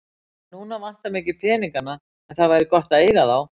En núna vantar mig ekki peningana en það væri gott að eiga þá.